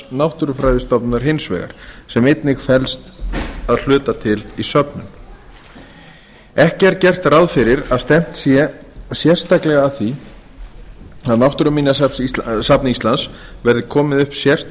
náttúrufræðistofnunar hins vegar sem einnig felst að hluta til í söfnun ekki er gert ráð fyrir að stefnt sé sérstaklega að því að á náttúruminjasafni íslands verði komið upp